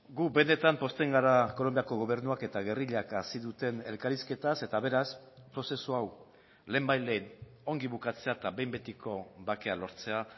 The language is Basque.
gu benetan pozten gara kolonbiako gobernuak eta gerrillak hasi duten elkarrizketaz eta beraz prozesu hau lehenbailehen ongi bukatzea eta behin betiko bakea lortzea